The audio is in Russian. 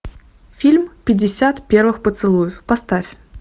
фильм пятьдесят первых поцелуев поставь